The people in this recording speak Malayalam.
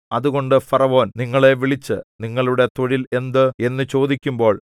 അതുകൊണ്ട് ഫറവോൻ നിങ്ങളെ വിളിച്ച് നിങ്ങളുടെ തൊഴിൽ എന്ത് എന്നു ചോദിക്കുമ്പോൾ